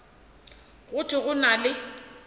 go thwe go na le